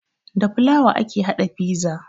Da fulawa ake haɗa fiza